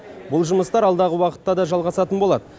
бұл жұмыстар алдағы уақытта да жалғасатын болады